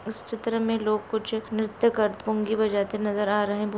इस चित्र में लोग कुछ निर्त्य करते पुंगी बजाते नजर आ रहे है।